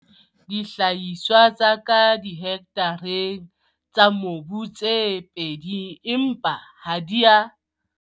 Dihlahiswa tsa ka dihektareng tsa mobu tse pedi empa ha di a.